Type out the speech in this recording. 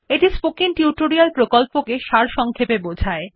এটি spoken tutorial প্রকল্পটি সারসংক্ষেপে বোঝায়